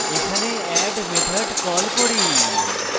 এখানে add method call করি